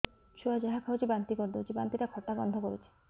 ଛୁଆ ଯାହା ଖାଉଛି ବାନ୍ତି କରିଦଉଛି ବାନ୍ତି ଟା ଖଟା ଗନ୍ଧ କରୁଛି